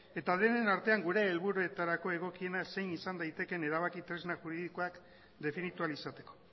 eta denen artean gure helburuetarako egokiena zein izan daitekeen erabaki tresna juridikoak definitu ahal izateko